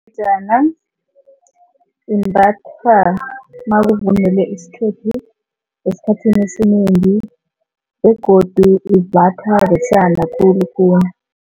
Ingejana imbathwa makuvunulwe isikhethu esikhathini esinengi begodu imbathwa besana khulukhulu.